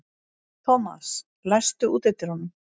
Thomas, læstu útidyrunum.